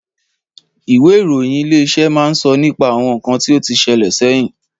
Ìwé ìròyìn Ilé-iṣẹ́ máa ń sọ nípa àwọn ǹkan tí ó tí sele sẹ́yìn